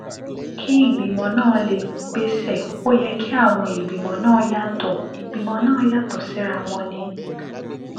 kí ìgbìmọ̀ náà lè gbéṣẹ́ ó yẹ kí àwọn ìgbìmọ̀ náà yàtọ̀ ìgbìmọ̀ náà yàtọ̀ síra kí wọ́n ní